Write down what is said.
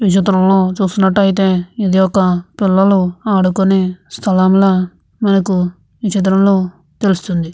ఈ చిత్రంలో చూస్తున్నట్లయితే పిల్లలు ఆడుకునే స్థలంల మనకి ఈ చిత్రంలో తెలుస్తుంది.